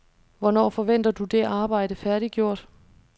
Hvornår forventer du det arbejde færdiggjort?